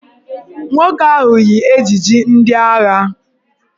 Nwoke ahụ yi ejiji ndị agha